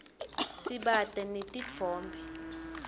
sibata netitfombe